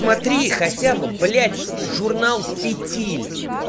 смотри хотя бы блядь журнал фитиль